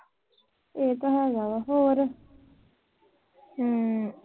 ਹੂੰ।